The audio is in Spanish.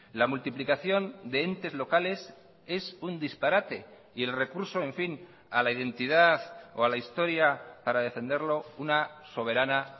la multiplicación de entes locales es un disparate y el recurso en fin a la identidad o a la historia para defenderlo una soberana